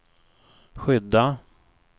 skydda